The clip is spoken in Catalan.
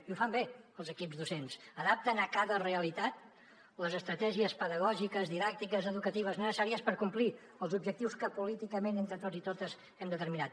i ho fan bé els equips docents adapten a cada realitat les estratègies pedagògiques didàctiques educatives necessàries per complir els objectius que políticament entre tots i totes hem determinat